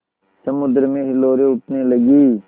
समुद्र में हिलोरें उठने लगीं